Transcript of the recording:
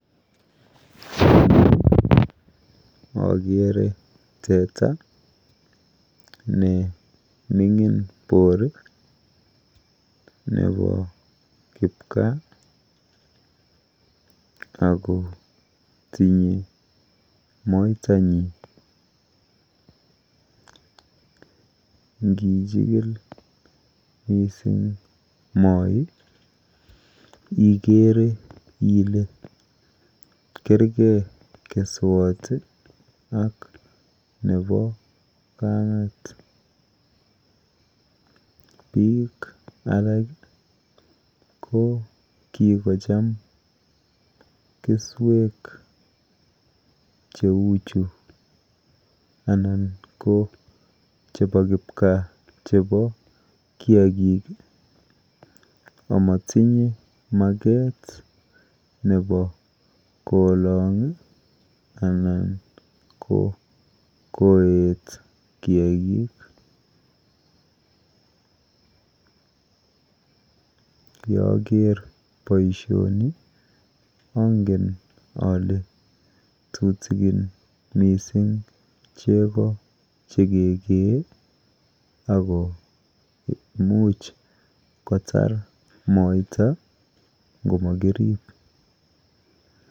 Eng yu akere teta nemining boor nepo kipkaa ako tinye moitanyi. Nkichikil mising moi ikere ile kergei keswot ak nepo kamet. Biik alak ko kikocham keswek cheuchu anan ko chepo kipkaa chepo kiakik amatinye maket nepo kolong anan ko koet kiakik. Yeaker boishoni angen ale tutikin mising chego chekekee ako imuch kotar moita ngomakirip.